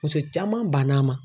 Muso caman bann'a ma